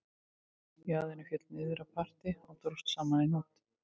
Jaðarinn féll niður á parti og dróst saman í hnút